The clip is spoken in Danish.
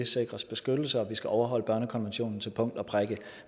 sikres beskyttelse vi skal overholde børnekonventionen til punkt og prikke